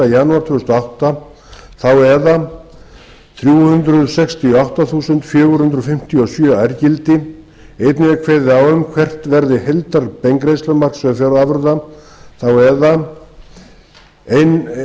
þúsund og átta eða þrjú hundruð sextíu og átta þúsund fjögur hundruð fimmtíu og sjö ærgildi einnig er kveðið á um hvert verði heildarbeingreiðslumark sjávarafurða eða